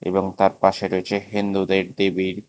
লঙ্কার পাশে রয়েছে হিন্দুদের দেবীর--